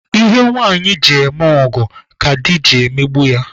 Ihe nwanyị ji eme ọgọ ka di ji emegbu ya